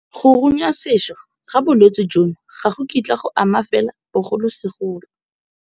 Go runyasešwa ga bolwetse jono ga go kitla go ama fela bogolosegolo.